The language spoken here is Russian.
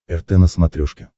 рт на смотрешке